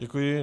Děkuji.